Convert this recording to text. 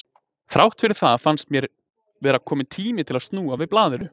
Þrátt fyrir það fannst mér vera kominn tími til að snúa við blaðinu.